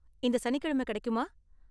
இந்த சனிக்கிழமை கிடைக்குமா?